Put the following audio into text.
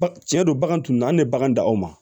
Baga cɛn don bagan tun an tɛ bagan dan o ma